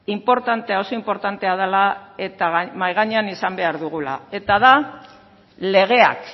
inportantea oso inportantea dela eta mahai gainean izan behar dugula eta da legeak